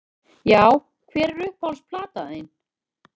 Já Hver er uppáhalds platan þín?